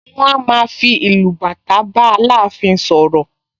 Wọ́n a máa fi ìlù bàtà bá Aláàfin sọ̀rọ̀